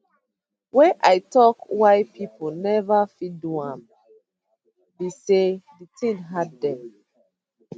wey i tok why pipo neva fit do am be say di tin too hard dem